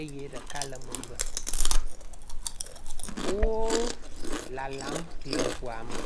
eye ɖeka le megbe. Wo lalam le ŋua me.